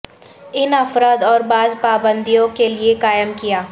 ان افراد اور بعض پابندیوں کے لئے قائم کیا